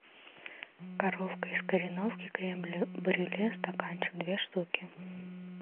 коровка из кореновки крем брюле стаканчик две штуки